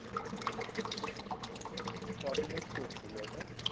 আচ্ছা কদিনের tour ছিল ওটা?